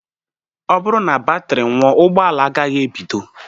Ọ bụrụ na batri nwụọ, ụgbọala agaghị ebido